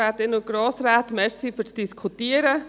Danke fürs Diskutieren!